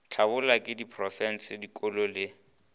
hlabollwa ke diprofense dikolo le